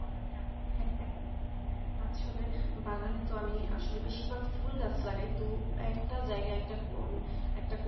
আসলে বাগানে তো আমি আসলে বেশিরভাগ ফুলগাছ লাগায় তো একটা জায়গা একটা কনা